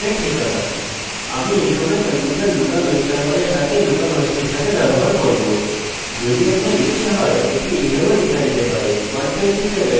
যদি আপনার ইচ্ছা হয় এটি এইভাবেও লেখা যেতে পারে 127001 লোকাল হোস্টের বিকল্প হিসাবে